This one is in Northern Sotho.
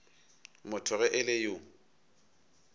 motho ge e le yo